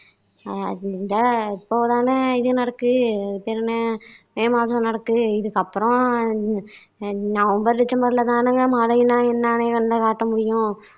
இந்த இப்போ தானே இது நடக்கு அது பேரு என்ன மே மாசம் நடக்குது இதுக்கு அப்பறம் அஹ் நவம்பர் டெசம்பர்ல தானேங்க மழைன்னா என்னன்னு கண்ணுல காட்ட முடியும்